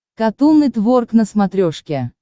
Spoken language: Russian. катун нетворк на смотрешке